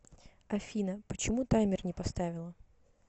афина почему таймер не поставила